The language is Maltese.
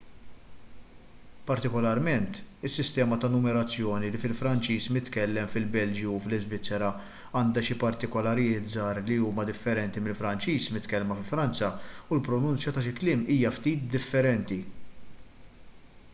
partikolarment is-sistema ta' numerazzjoni fil-franċiż mitkellem fil-belġju u fl-iżvizzera għandha xi partikolaritajiet żgħar li huma differenti mill-franċiż mitkellem fi franza u l-pronunzja ta' xi kliem hija ftit differenti